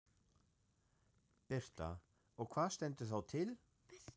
Birta: Og hvað stendur þá til?